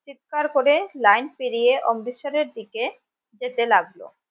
চিৎকার করে লাইন পেরিয়ে অমৃতসরের দিকে যেতে লাগলো